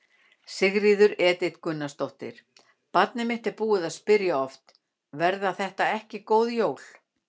Sigríður Edith Gunnarsdóttir: Barnið mitt er búið að spyrja oft: Verða þetta ekki góð jól?